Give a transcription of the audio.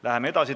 Läheme edasi.